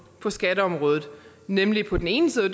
på skatteområdet nemlig på den ene side